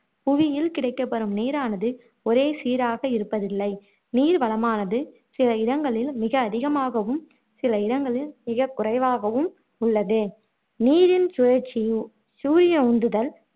புவியில் கிடைக்கப்பெறும் நீரானது ஓரே சீராக இருப்பதில்லை நீர் வளமானது சில இடங்களில் மிக அதிகமாகவும், சில இடங்களில் மிக குறைவாகவும் உள்ளது நீரின் சுழற்சி சூரிய உந்துதல்